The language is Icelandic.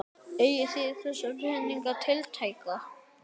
Eigið þið þessa peninga tiltæka?